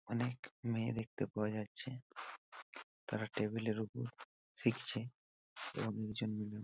অনেক মেয়ে দেখতে পাওয়া যাচ্ছে তারা টেবিল এ ওপর শিখছে এবং লোকজন মিলে--